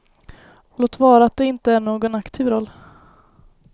Låt vara att det inte är i någon aktiv roll.